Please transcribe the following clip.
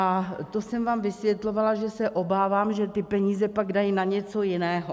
A to jsem vám vysvětlovala, že se obávám, že ty peníze pak dají na něco jiného.